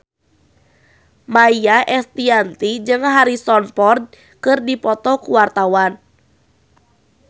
Maia Estianty jeung Harrison Ford keur dipoto ku wartawan